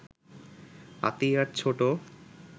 আতিয়ার ছোট